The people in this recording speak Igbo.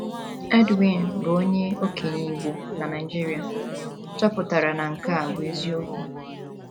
Edwin, bụ́ onye okenye Igbo na Nigeria, chọpụtara na nke a bụ eziokwu.